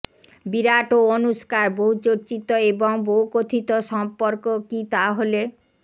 বিরাট ও অনুষ্কার বহুচর্চিত এবং বহুকথিত সম্পর্ক কি তাহলে